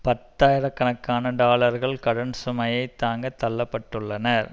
பத்தாயிர கணக்கான டாலர்கள் கடன் சுமையை தாங்கத் தள்ள பட்டுள்ளனர்